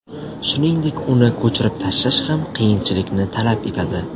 Shuningdek, uni ko‘chirib tashlash ham qiyinchilikni talab etadi.